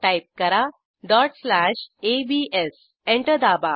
type करा dot slash ABS enter दाबा